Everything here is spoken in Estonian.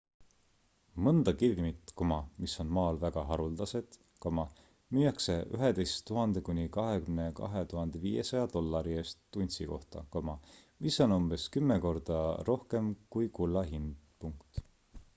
mõnda kivimit mis on maal väga haruldased müüakse 11 000 kuni 22 500 dollari eest untsi kohta mis on umbes kümme korda rohkem kui kulla hind